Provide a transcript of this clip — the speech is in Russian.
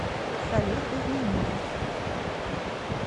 салют без меня